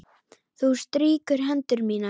Þú strýkur hendur mínar.